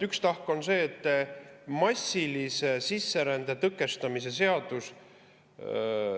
Üks tahk on see, et massilise sisserände tõkestamise seadus.